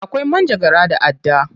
Akwai manjagara da adda.